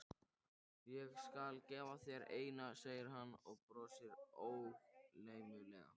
Ég skal gefa þér eina, segir hann og brosir ógleymanlegur.